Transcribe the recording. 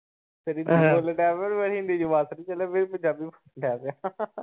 ਫਿਰ ਹਿੰਦੀ ਬੋਲਣ ਲੱਗ ਪਿਆ, ‌ ਹਿੰਦੀ ਚ ਵੱਸ ਨੀ ਚੱਲਿਆ ਫਿਰ ਪੰਜਾਬੀ‌ ਬੋਲਣ ਲੱਗ ਪਿਆ ।